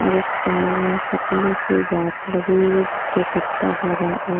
और एक सामने में पतली सी गाछ लगी हुई है जिसके पत्ता हरा और--